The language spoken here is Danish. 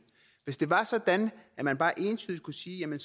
hvis det var sådan at man bare entydigt kunne sige at